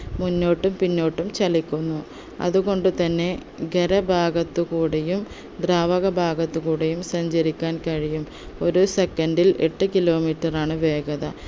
മുന്നോട്ടും പിന്നോട്ടും ചലിക്കുന്നു അതുകൊണ്ട് തന്നെ ഗരഭാഗത്ത് കൂടിയും ദ്രാവക ഭാഗത്ത് കൂടിയും സഞ്ചരിക്കാൻ കഴിയും ഒരു second ൽ എട്ട് kilometre റാണ് വേഗത